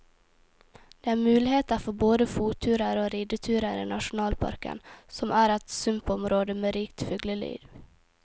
Det er muligheter for både fotturer og rideturer i nasjonalparken, som er et sumpområde med rikt fugleliv.